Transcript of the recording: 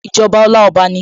Ìjọba Ọláọba ni